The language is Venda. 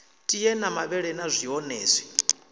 tie na mavhele na zwonezwi